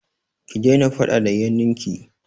Ki daina faɗa da yannin ki!